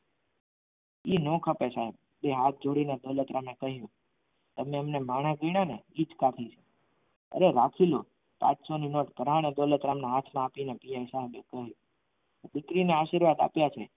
એ ન ખપે સાહેબ બે હાથ જોડીને દોલત દોલતરામે કહ્યું તમને અમે માણસ ગણ્યું ને એ જ કાફી છે અરે રાખી લો પાંચસો ની note પરાણે દોલતરામના હાથમાં આપીને પીએસઆઇ સાહેબ બોલ્યા દીકરીને આશીર્વાદ આપ્યા છે.